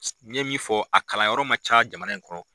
N ye min fɔ a kalanyɔrɔ man ca jamana in kɔnɔ.